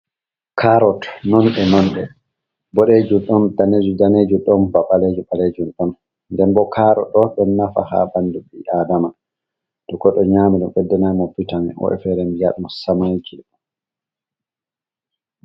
Karrot non e nonde boɗejum, ɗon danejum-danejum, ɗon ba ɓalejum-ɓalejum, ɗon nden bo karrot ɗo ɗon nafa ha ɓandu ɓi adama, toh godɗo nyami ɗum beɗdanai ɗum bitam woɓɓe fere bi'a ɗum semanki.